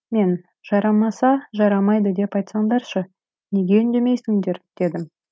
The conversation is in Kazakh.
мен жарамаса жарамайды деп айтсаңдаршы неге үндемейсіңдер дедім